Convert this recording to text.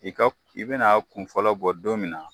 I ka i ben'a kunfɔlɔ bɔ don min na